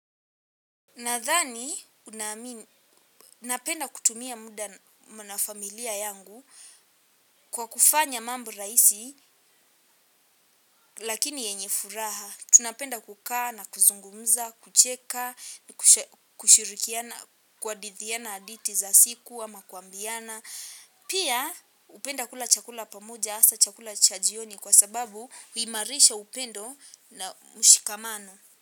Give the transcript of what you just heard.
Nadhani, napenda kutumia muda na familia yangu kwa kufanya mambo rahisi lakini yenye furaha. Tunapenda kukaa na kuzungumza, kucheka, kushirikiana, kuhadithiana hadithi za siku ama kuambiana. Pia hupenda kula chakula pamoja hasa chakula chajioni kwa sababu huimarisha upendo na mshikamano.